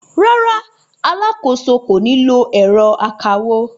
Rárá, alákòóso kò ní lo ẹ̀rọ akawó.